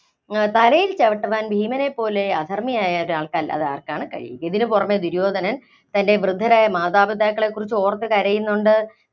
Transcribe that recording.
തലയില്‍ ചവിട്ടുവാന്‍ ഭീമനെ പോലെ അധര്‍മ്മിയായ ഒരാള്‍ക്കല്ലാതെ ആര്‍ക്കാണ് കഴിയുക? ഇതിന് പുറമെ ദുര്യോധനൻ തന്‍റെ വൃദ്ധരായ മാതാപിതാക്കളെക്കുറിച്ച് ഓര്‍ത്ത് കരയുന്നുണ്ട്